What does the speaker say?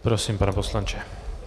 Prosím, pane poslanče.